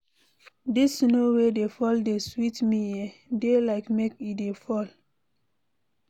Dis snow wey dey fall dey sweet me eh, dey like make e dey fall.